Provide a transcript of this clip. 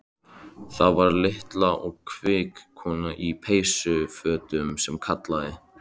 Það var litla og kvika konan í peysufötunum sem kallaði.